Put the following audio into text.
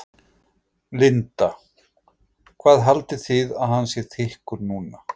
Linda: Hvað haldið þið að hann sé þykkur núna?